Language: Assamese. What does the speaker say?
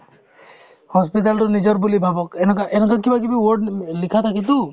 hospital তো নিজৰ বুলি ভাবক এনেকুৱা~ এনেকুৱা কিবাকিবি word উম লিখা থাকেতো